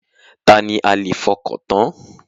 Ta ni a lè fọkàntán?